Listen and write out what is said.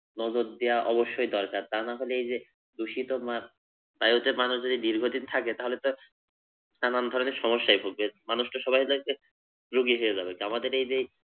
নজর দেওয়া অবশ্যই দরকার । তা নাহলে এই যে দুষিত বায়ুতে মানুষ যদি দীর্ঘ দিন থাকে তাহলে তো নানান ধরনের সমস্যায় ভুগবে। মানুষতো সবাই রুগী হয়ে যাবে। আমাদের এই যে